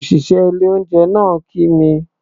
Òṣìṣẹ́ ilé-oúnjẹ náà kí mi.